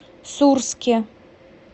сурске